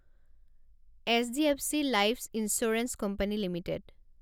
HDFC life insurance company limited